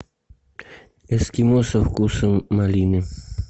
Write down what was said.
эскимо со вкусом малины